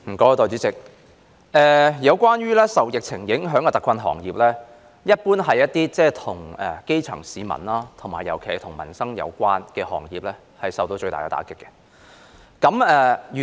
代理主席，受疫情影響的特困行業，一般是那些與基層市民有關的行業，尤其涉及民生的，他們受到最大打擊。